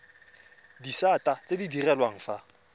disata tse di direlwang fa